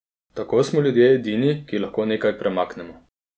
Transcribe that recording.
Tako smo ljudje edini, ki lahko nekaj premaknemo.